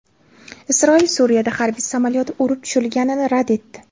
Isroil Suriyada harbiy samolyoti urib tushirilganini rad etdi.